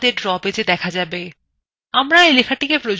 আমরা we লেখাটিকে প্রয়োজনমত ছোটবড় করতে পারি